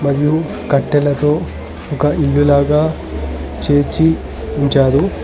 లు కట్టెలతో ఒక ఇల్లు లాగా చేర్చి ఉంచారు.